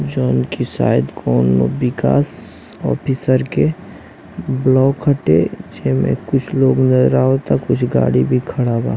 जवान कि शायद कोनो बिकास ऑफिसर के ब्लॉक हटे कुछ गाड़ी भी खड़ा बा--